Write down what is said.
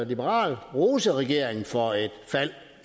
liberal rose regeringen for et fald